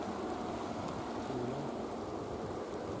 Froland